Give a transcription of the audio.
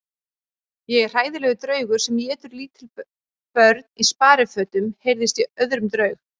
Ég er hræðilegur draugur sem étur lítil börn í sparifötum heyrðist í öðrum draug.